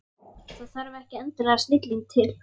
Það þarf ekki endilega snilling til.